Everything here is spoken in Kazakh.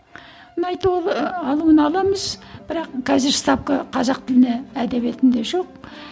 алуын аламыз бірақ қазір ставка қазақ тіліне әдебиетінде жоқ